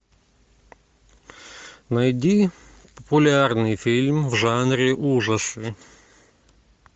найди популярный фильм в жанре ужасы